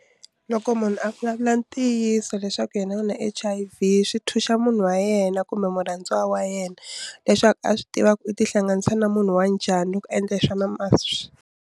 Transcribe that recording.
Loko munhu a vulavula ntiyiso leswaku yena u na H_I_V swi thuxa munhu wa yena kumbe murhandziwa wa yena leswaku a swi tiva ku u tihlanganisa na munhu wa njhani loko endle swona .